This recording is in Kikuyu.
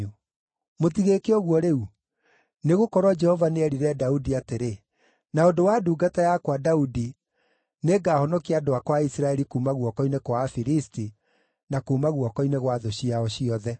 Mũtigĩĩke ũguo rĩu! Nĩgũkorwo Jehova nĩerire Daudi atĩrĩ, ‘Na ũndũ wa ndungata yakwa Daudi nĩngahonokia andũ akwa a Isiraeli kuuma guoko-inĩ kwa Afilisti na kuuma guoko-inĩ gwa thũ ciao ciothe.’ ”